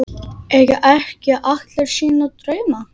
Eiga ekki allir sína drauma?